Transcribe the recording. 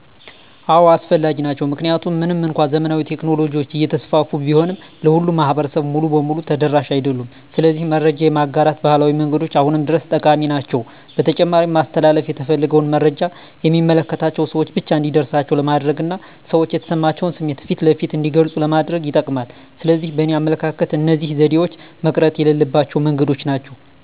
አዎ አስፈላጊ ናቸው። ምክንያቱም ምንም እንኳን ዘመናዊ ቴክኖሎጂዎች እየተስፋፉ ቢሆንም ለሁሉም ማህበረሰብ ሙሉ በሙሉ ተደራሽ አይደሉም። ስለዚህ መረጃ የማጋራት ባህላዊ መንገዶች አሁንም ድረስ ጠቃሚ ናቸው። በተጨማሪም ማስተላለፍ የተፈለገውን መረጃ የሚመለከታቸው ሰወች ብቻ እንዲደርሳቸው ለማድረግና ሰዎች የተሰማቸውን ስሜት ፊት ለፊት እንዲገልጹ ለማድረግ ይጠቅማል። ስለዚህ በእኔ አመለካከት እነዚህ ዘዴዎች መቅረት የሌለባቸው መንገዶች ናቸው።